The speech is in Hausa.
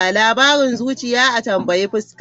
Labarin zuciya, a tambayi fuska.